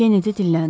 Kenedi dilləndi.